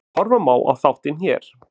Horfa má á þáttinn hér